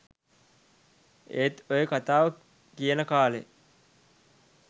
ඒත් ඔය කතාව කියන කාලේ